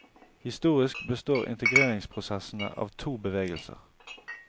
Historisk består integreringsprosessene av to bevegelser.